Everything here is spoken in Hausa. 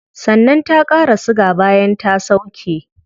Sannan ta qara siga bayan ta sauke